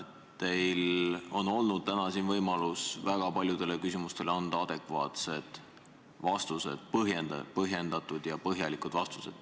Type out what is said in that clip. Teil on olnud täna siin võimalus anda väga paljudele küsimustele adekvaatseid vastuseid, põhjendatud ja põhjalikke vastuseid.